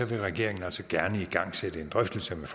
vil regeringen altså gerne igangsætte en drøftelse med